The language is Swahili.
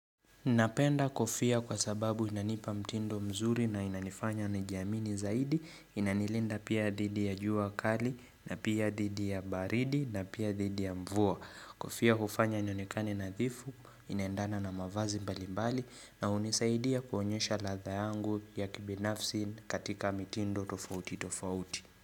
Napenda kofia kwa sababu inanipa mtindo mzuri na inanifanya nijiamini zaidi, inanilinda pia thidi ya jua kali, na pia dhidi ya baridi, na pia dhidi ya mvua. Kofia hufanya nionekane nadhifu, inaendana na mavazi mbali mbali na hunisaidia kuonyesha ladha yangu ya kibinafsi katika mitindo tofauti tofauti.